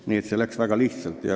Nii et see läks väga lihtsalt.